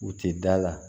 U tɛ da la